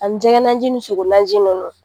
A ni jɛgɛnanjin, ni sogonanji nunnu.